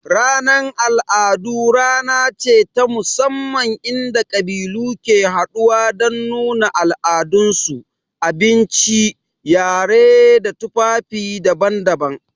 Ranar al'adu rana ce ta musamman inda ƙabilu ke haɗuwa don nuna al'adunsu, abinci, yarensu da tufafinsu daban-daban.